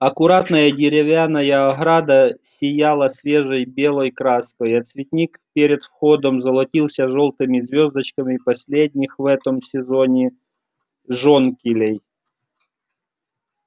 аккуратная деревянная ограда сияла свежей белой краской а цветник перед входом золотился жёлтыми звёздочками последних в этом сезоне жонкилей